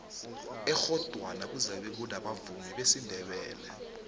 ekghodwana kuzabe kunabavumi besindebele